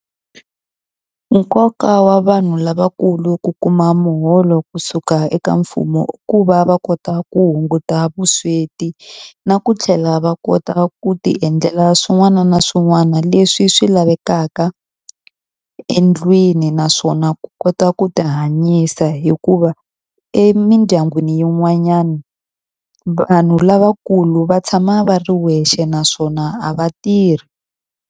Nkoka wa vanhu lavakulu ku kuma muholo kusuka eka mfumo i ku va va kota ku hunguta vusweti, na ku tlhela va kota ku ti endlela swin'wana na swin'wana leswi swi lavekaka endlwini naswona ku kota ku ti hanyisa. Hikuva emindyangwini yin'wanyana, vanhu lavakulu va tshama va ri wexe naswona a va tirhi.